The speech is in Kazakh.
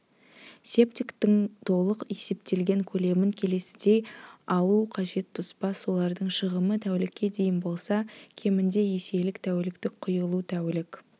септиктің толық есептелген көлемін келесідей алу қажет тоспа сулардың шығымы тәулікке дейін болса кемінде еселік тәуліктік құйылу тәулік